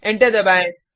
enter दबाएँ